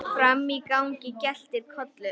Frammi í gangi geltir Kolur.